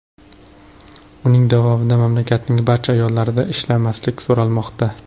Uning davomida mamlakatning barcha ayollaridan ishlamaslik so‘ralmoqda.